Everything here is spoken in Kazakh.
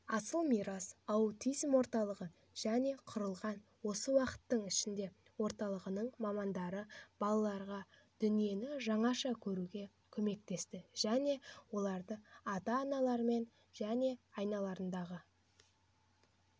асыл мирас аутизм орталығы жылы құрылған осы уақыттың ішінде орталықтың мамандары балаға дүниені жаңаша көруге көмектесті және оларды ата-аналарымен және айналаларындағы